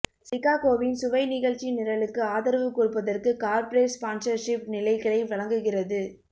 சிகாகோவின் சுவை நிகழ்ச்சிநிரலுக்கு ஆதரவு கொடுப்பதற்கு கார்ப்பரேட் ஸ்பான்ஸர்ஷிப் நிலைகளை வழங்குகிறது